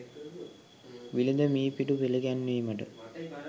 විලද මී පිඬු පිළිගැන්වීමට